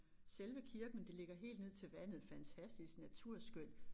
Selve kirken men det ligger helt ned til vandet fantastisk naturskønt